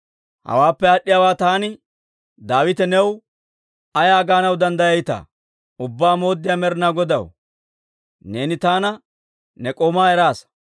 «Hawaappe aad'd'iyaawaa taani Daawite new ay gaanaw danddayayitaa? Ubbaa Mooddiyaa Med'inaa Godaw, neeni taana ne k'oomaa eraasa.